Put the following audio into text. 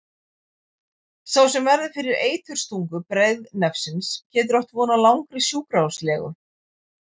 Sá sem verður fyrir eiturstungu breiðnefsins getur átt von á langri sjúkrahúslegu.